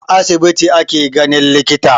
A asibiti ake ganin likita